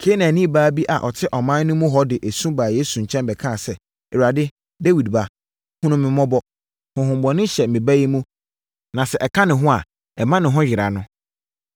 Kanaanni baa bi a ɔte ɔman no mu hɔ de su baa Yesu nkyɛn bɛkaa sɛ, “Awurade, Dawid Ba, hunu me mmɔbɔ! Honhommɔne hyɛ me ba mu na sɛ ɛka ne ho a, ɛma ne ho yera no.”